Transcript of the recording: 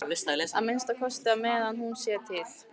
Að minnsta kosti á meðan hún sér til.